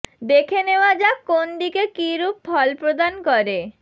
দেখে নেওয়া যাক কোন দিকে কী রূপ ফল প্রদান করে